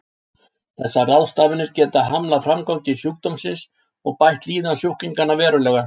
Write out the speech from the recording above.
Þessar ráðstafanir geta hamlað framgangi sjúkdómsins og bætt líðan sjúklinganna verulega.